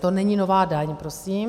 To není nová daň prosím.